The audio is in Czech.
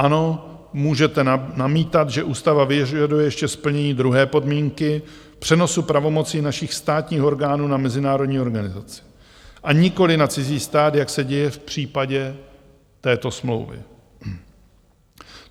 Ano, můžete namítat, že ústava vyžaduje ještě splnění druhé podmínky, přenosu pravomocí našich státních orgánů na mezinárodní organizaci a nikoliv na cizí stát, jak se děje v případě této smlouvy.